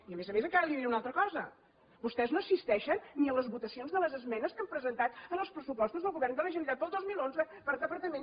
i a més a més encara li diré una altra cosa vostès no assisteixen ni a les votacions de les esmenes que han presentat en els pressupostos del govern de la generalitat per al dos mil onze per departament